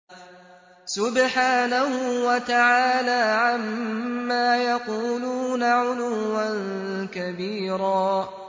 سُبْحَانَهُ وَتَعَالَىٰ عَمَّا يَقُولُونَ عُلُوًّا كَبِيرًا